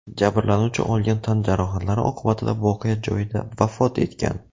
Jabrlanuvchi olgan tan jarohatlari oqibatida voqea joyida vafot etgan.